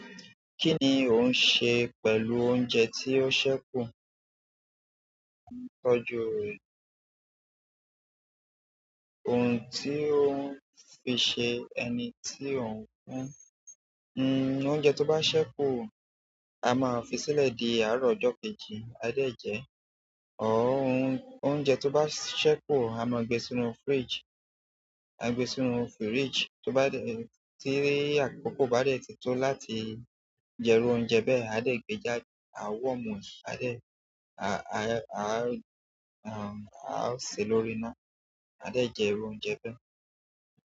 Kí ni ò ń ṣe pẹ̀lú oúnjẹ tí ó ṣẹ́ kú? Tọ́jú rẹ̀. Ohun tí ò ń fi ṣe ẹni tí ò ń fún. Hmm, oúnjẹ ti o ba se ku a maa fi sile di àárọ̀ ojo kejì, a de je or hun oúnjẹ tó bá ṣẹ́ kú, a máa gbe sínú fridge, a ń gbe sínú fridge, tó bá dẹ̀, tí àkókò bá dẹ̀ tito láti jẹ iru oúnjẹ bẹ́ẹ̀, a dẹ̀ gbé jáde, a worm e, a dẹ̀, a, a, a, a ń ṣe lórí iná, a dẹ̀ jẹ oúnjẹ bẹ́ẹ̀.